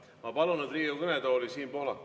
Ma palun nüüd Riigikogu kõnetooli Siim Pohlaku.